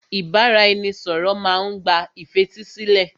Ìbáraẹnisọ̀rọ̀ má n gba ìfetísílẹ̀.